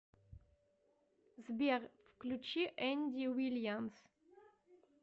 сбер включи энди вильямс